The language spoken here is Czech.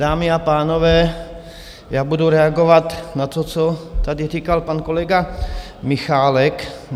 Dámy a pánové, já budu reagovat na to, co tady říkal pan kolega Michálek.